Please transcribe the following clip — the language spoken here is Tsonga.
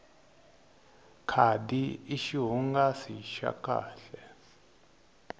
khadi i xihungasi xa kahle